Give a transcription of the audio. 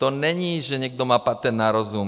To není, že někdo má patent na rozum.